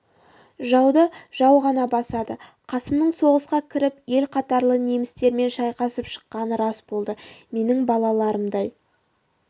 жауды жау ғана басады қасымның соғысқа кіріп ел қатарлы немістермен шайқасып шыққаны рас болды менің балаларымдай